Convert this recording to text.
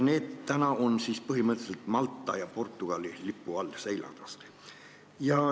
Need seilavad põhimõtteliselt praegu kas Malta või Portugali lipu all.